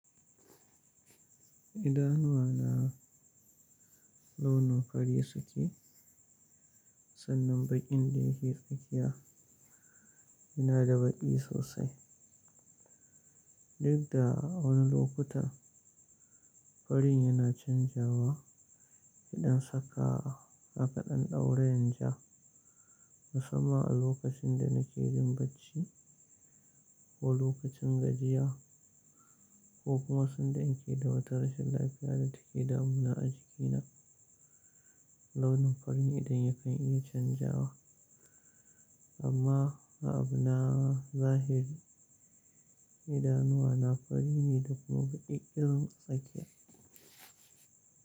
Idanuwa na launi fari suke, sannan baƙin da ya ke tsakiya yana da baƙi sosai. Duk da wani lokutan farin yana canzawa idan saka maka ɗan ɗaurin ja, musamman a lokacin da na ke jin bacci ko lokacin gajiya ko kuma sanda in ke da wata rashin lafiya da take damuna a jikina, launin fari idan ya kan iya canzawa. Amma a abuna zahiri, idanuwa na fari ne da kuma baƙi ƙirin tsakiya.